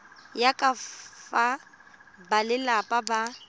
ya ka fa balelapa ba